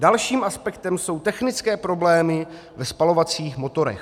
Dalším aspektem jsou technické problémy ve spalovacích motorech.